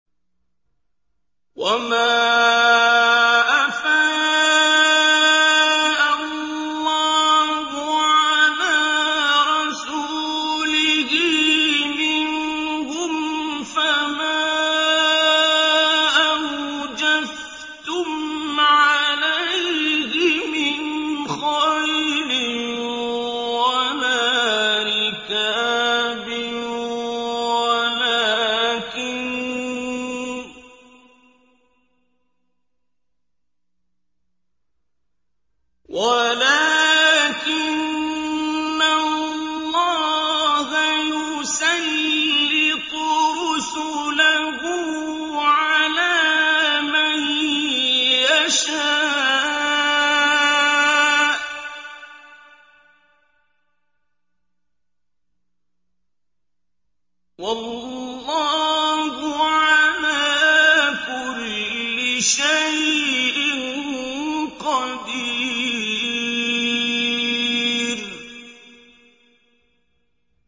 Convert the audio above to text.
وَمَا أَفَاءَ اللَّهُ عَلَىٰ رَسُولِهِ مِنْهُمْ فَمَا أَوْجَفْتُمْ عَلَيْهِ مِنْ خَيْلٍ وَلَا رِكَابٍ وَلَٰكِنَّ اللَّهَ يُسَلِّطُ رُسُلَهُ عَلَىٰ مَن يَشَاءُ ۚ وَاللَّهُ عَلَىٰ كُلِّ شَيْءٍ قَدِيرٌ